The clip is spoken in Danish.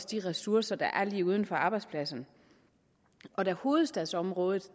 de ressourcer der er lige uden for arbejdspladsen da hovedstadsområdet